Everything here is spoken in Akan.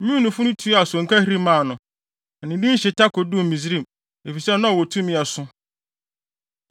Meunifo no tuaa sonkahiri maa no, na ne din hyeta koduu Misraim, efisɛ na ɔwɔ tumi a ɛso.